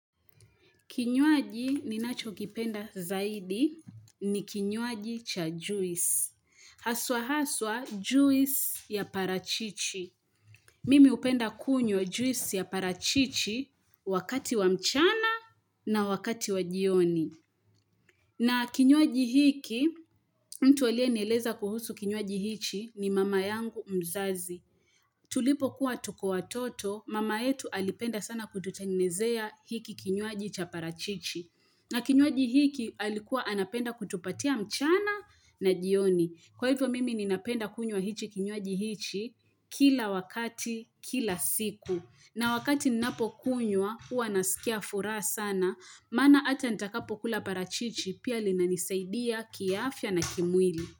Kinywaji ninacho kipenda zaidi ni kinywaji cha juisi. Haswa haswa juis ya parachichi. Mimi hupenda kunywa juisi ya parachichi wakati wa mchana na wakati wa jioni. Na kinywaji hiki, mtu aliyenieleza kuhusu kinywaji hichi ni mama yangu mzazi. Tulipokuwa tuko watoto, mama yetu alipenda sana kututengenezea hiki kinywaji cha parachichi. Na kinywaji hiki alikuwa anapenda kutupatia mchana na jioni. Kwa hivyo mimi ninapenda kunywa hichi kinywaji hichi kila wakati, kila siku. Na wakati ninapo kunywa huwa nasikia furaha sana. Maana hata nitakapokula parachichi pia linanisaidia kiafya na kimwili.